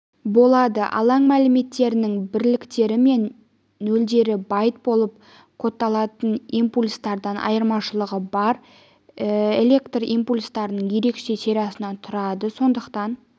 болады алаң мәліметтерінің бірліктері мен нөлдері байт болып кодталатын импульстардан айырмашылығы бар электрлі импульстардың ерекше сериясынан тұрады сондықтан